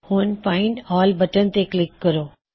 ਹੁਣ find all button ਤੇ click ਕਰੋ